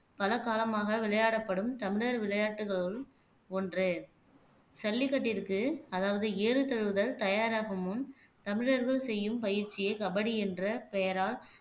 பல காலமாக விளையாடப்படும் தமிழர் விளையாட்டுகளுள் ஒன்று ஜல்லிக்கட்டிருக்கு அதாவது ஏறு தழுவுதல் தயாராகும் முன் தமிழர்கள் செய்யும் பயிற்சியே கபடி என்ற பெயரால்